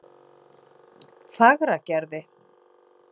Fagragerði